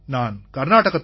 நான் கர்நாடகத்தின்